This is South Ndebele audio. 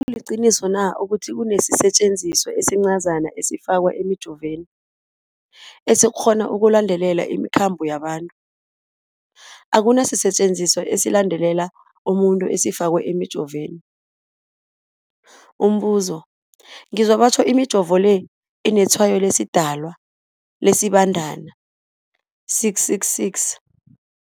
kuliqiniso na ukuthi kunesisetjenziswa esincazana esifakwa emijovweni, esikghona ukulandelela imikhambo yabantu? Akuna sisetjenziswa esilandelela umuntu esifakwe emijoveni. Umbuzo, ngizwa batjho imijovo le inetshayo lesiDalwa, lesiBandana 666.